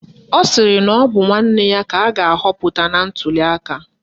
Ọ sịrị na ọ bụ nwanne ya ka a ga-ahọpụta na ntuliaka